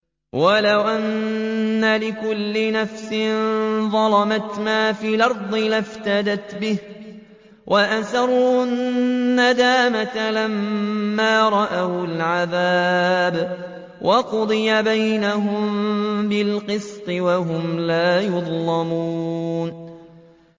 وَلَوْ أَنَّ لِكُلِّ نَفْسٍ ظَلَمَتْ مَا فِي الْأَرْضِ لَافْتَدَتْ بِهِ ۗ وَأَسَرُّوا النَّدَامَةَ لَمَّا رَأَوُا الْعَذَابَ ۖ وَقُضِيَ بَيْنَهُم بِالْقِسْطِ ۚ وَهُمْ لَا يُظْلَمُونَ